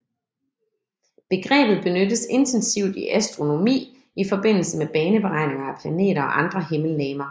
Begrebet benyttes intensivt i astronomi i forbindelse med baneberegninger af planeter og andre himmellegemer